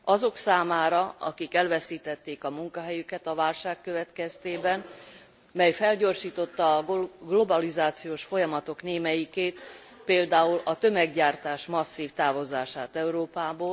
Azok számára, akik elveszítették a munkahelyüket a válság következtében, mely felgyorsította a globalizációs folyamatok némelyikét, például a tömeggyártás masszív távozását Európából.